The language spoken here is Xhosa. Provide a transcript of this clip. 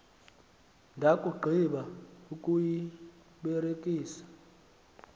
ndakugqi ba ukuyibelekisa